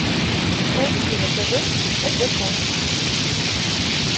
найти на тв тдк